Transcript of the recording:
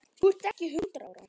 Þú ert ekki hundrað ára!